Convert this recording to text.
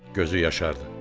Gözü yaşardı.